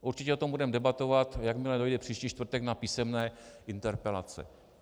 Určitě o tom budeme debatovat, jakmile dojde příští čtvrtek na písemné interpelace.